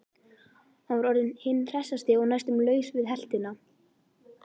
Hann var orðinn hinn hressasti og næstum laus við heltina.